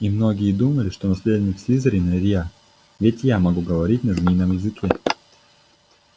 и многие думали что наследник слизерина я ведь я могу говорить на змеином языке